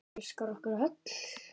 Það elskar okkur öll.